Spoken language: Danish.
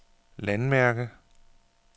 landmærke